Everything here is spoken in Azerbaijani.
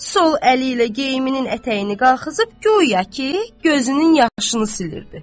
Sol əli ilə geyimin ətəyini qaxızıb, guya ki, gözünün yaşını silirdi.